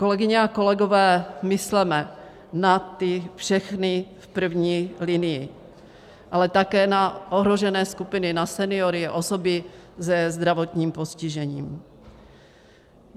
Kolegyně, kolegové, mysleme na ty všechny v první linii, ale také na ohrožené skupiny, na seniory a osoby se zdravotním postižením.